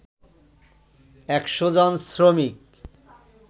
১০০ জন শ্রমিক